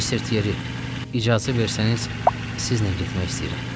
Mister Tiyeri, icazə versəniz, sizlə getmək istəyirəm.